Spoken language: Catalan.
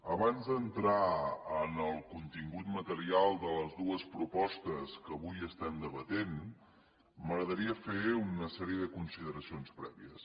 abans d’entrar en el contingut material de les dues propostes que avui estem debatent m’agradaria fer una sèrie de consideracions prèvies